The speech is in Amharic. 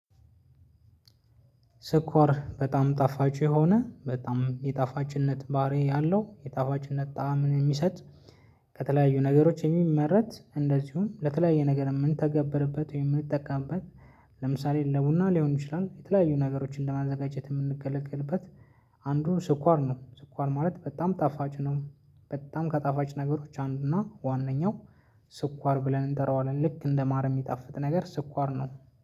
ስኳር በጣም ጣፋጭ የሆነ በጣም የጣፋጭነት ባህሪ ያለው የጣፋጭነት ጣዕምን የሚሰጥ። ከተለያዩ ነገሮች የሚመረት እንደዚሁም ለተለያየ ነገር የምንተገበርበት ወይም ምንጠቀምበት። ለምሳሌ ለቡና ሊሆን ይችላል የተለያዩ ነገሮችን ለማዘጋጀት የምንገለግልበት። አንዱ ስኳር ነው። ስኳር ማለት በጣም ጣፋጭ ነው። በጣም ከጣፋጭ ነገሮች አንዱ እና ዋናው። ስኳር ብለን እንጠራዋለን ልክ እንደማር የሚጣፍጥ ነገር ስኳር ነው።